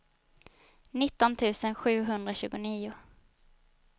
nitton tusen sjuhundratjugonio